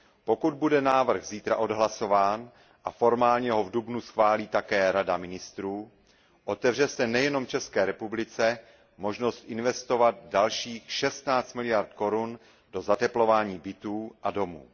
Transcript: Pokud bude návrh zítra odhlasován a formálně ho v dubnu schválí také Rada ministrů, otevře se nejenom České republice možnost investovat dalších 16 miliard korun do zateplování bytů a domů.